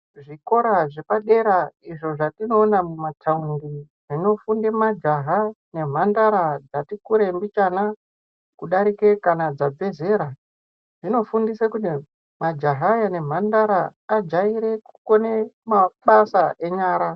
Zvikora zvapadera izvo zvatinoona mumataundi zvinofunde majaha nemhandara dzati kure mbichana kudarike kana dzabva zera zvinofundise kuti majaha aya ne mhandara ajaire kukone mabasa enyara.